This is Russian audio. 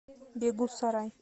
бегусарай